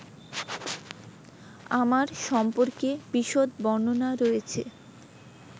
আমার সম্পর্কে বিশদ বর্ণনা রয়েছে